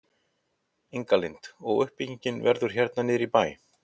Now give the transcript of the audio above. Inga Lind: Og uppbyggingin verður hérna niður í bæ?